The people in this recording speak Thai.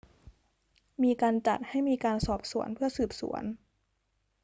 มีการจัดให้มีการสอบสวนเพื่อสืบสวน